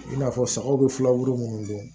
I n'a fɔ sagaw bɛ filaburu minnu bɔ